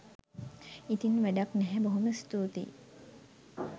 ඉතින් වැඩක් නැහැ බොහොම ස්තුතියි